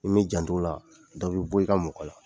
N'i mi jant'o la dɔ b'i bɔ i ka mɔgɔ la.